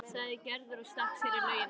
sagði Gerður og stakk sér í laugina.